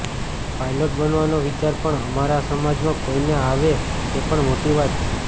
pilot બનવાનો વિચાર પણ અમારા સમાજમાં કોઇને આવે તે પણ મોટી વાત છે